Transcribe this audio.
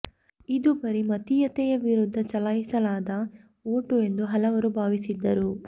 ಇದು ಬರೀ ಮತೀಯತೆಯ ವಿರುದ್ಧ ಚಲಾಯಿಸಲಾದ ಓಟು ಎಂದು ಹಲವರು ಭಾವಿಸಿದರು